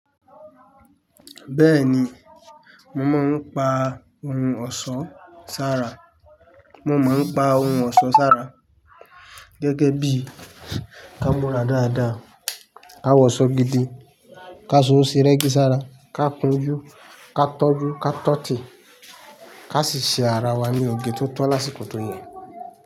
Bẹ́ẹ̀ni, mo máa ń pa ohun ọ̀ṣọ́ sára. Mo máa ń pa ohun ọ̀ṣọ́ sára gẹ́gẹ́ bí ká múra dáadáa, ká wọṣọ gidi, ká so sí rẹ́gí sára, ká kún jú, ká tọ́jú, ká tọ́tì, ká sì ṣe ara wa ní oge tó tọ́ lásìkò tó yẹ.